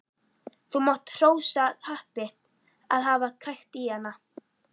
Þú mátt hrósa happi að hafa krækt í hana.